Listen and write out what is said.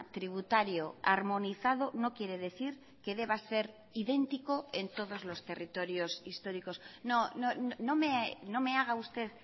tributario armonizado no quiere decir que deba ser idéntico en todos los territorios históricos no me haga usted